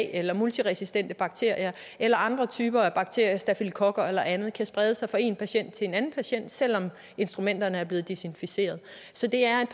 eller multiresistente bakterier eller andre typer af bakterier stafylokokker eller andet kan sprede sig fra én patient til en anden patient selv om instrumenterne er blevet desinficeret så det er et